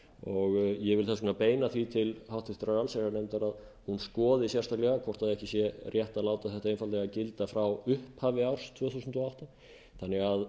vil þess vegna beina því til háttvirtrar allsherjarnefndar að hún skoði sérstaklega hvort ekki sé rétt að láta þetta einfaldlega gilda frá upphafi árs tvö þúsund og átta þannig